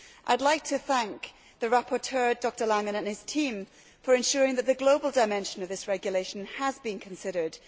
I would like to thank the rapporteur, Dr Langen, and his team for ensuring that the global dimension of this regulation has been considered.